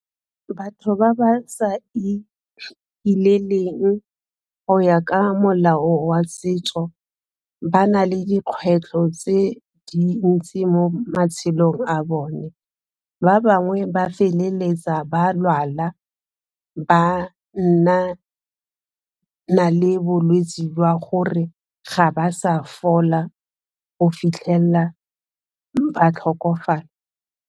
Batho ba ba sa ikileleng go ya ka molao wa setso ba na le dikgwetlho tse dintsi mo matshelong a bone ba bangwe ba feleletsa ba lwala, ba nna na le bolwetsi jwa gore ga ba sa fola go fitlhelela ba tlhokofala.